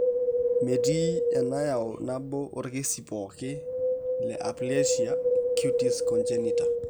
Metii enayau nabo oorkesii pooki leAplasia cutis congenita.